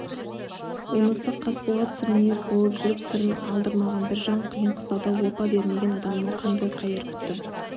онысы қасболат сырмінез болып жүріп сырын алдырмаған бір жан қиын-қыстауда опа бермеген адамнан қандай қайыр күтті